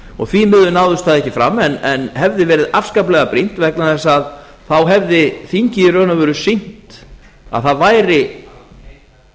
skýrslu því miður náðist það ekki fram en hefði verið afskaplega brýnt vegna þess að þá hefði þingið í raun og veru sýnt að það væri